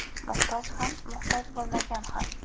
Muhtoj ham, muhtoj bo‘lmagan ham.